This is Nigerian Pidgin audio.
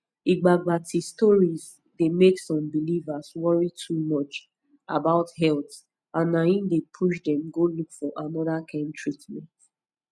igbagbati stories dey make some believers worry too much about health and na him dey push dem go look for another kind treatment